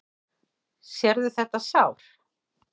Sérðu þetta sár?